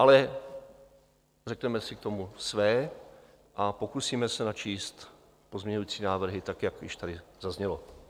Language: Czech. Ale řekneme si k tomu své a pokusíme se načíst pozměňující návrhy, tak jak již tady zaznělo.